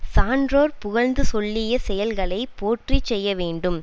சான்றோர் புகழ்ந்து சொல்லியச் செயல்களை போற்றி செய்யவேண்டும்